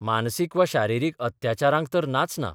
मानसीक वा शारिरीक अत्याचारांक तर नाच ना.